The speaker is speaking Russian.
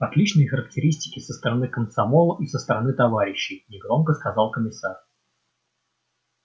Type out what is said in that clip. отличные характеристики со стороны комсомола и со стороны товарищей негромко сказал комиссар